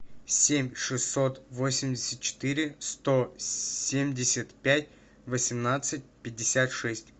семь шестьсот восемьдесят четыре сто семьдесят пять восемнадцать пятьдесят шесть